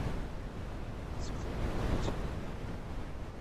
светлану лагутину